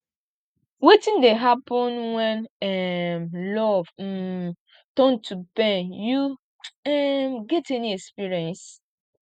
wetin dey happen when um love um turn to pain you um get any experience